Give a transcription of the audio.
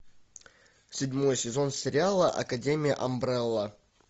седьмой сезон сериала академия амбрелла